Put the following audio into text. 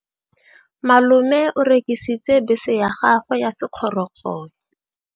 Malome o rekisitse bese ya gagwe ya sekgorokgoro.